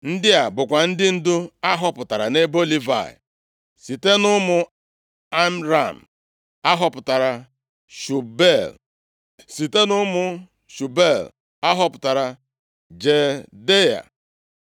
Ndị a bụkwa ndị ndu a họpụtara nʼebo Livayị: Site nʼụmụ Amram, a họpụtara Shubuel. Site nʼụmụ Shubuel a họpụtara Jehdeia.